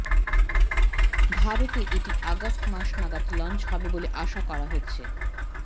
ভারতে এটি আগস্ট মাস নাগাদ লঞ্চ হবে বলে আসা করা হচ্ছে